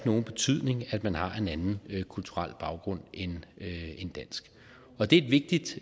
nogen betydning at man har en anden kulturel baggrund end dansk og det er et vigtigt